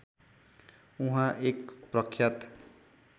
उहाँ एक प्रख्यात